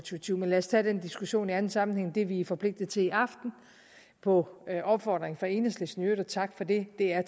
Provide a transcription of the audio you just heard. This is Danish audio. tyve men lad os tage den diskussion i anden sammenhæng det vi er forpligtet til i aften på opfordring fra enhedslisten i øvrigt og tak for det er